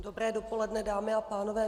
Dobré dopoledne, dámy a pánové.